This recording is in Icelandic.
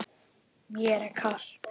Mér er kalt.